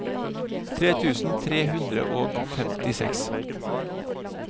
tre tusen tre hundre og femtiseks